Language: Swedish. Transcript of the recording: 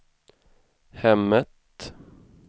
hemmet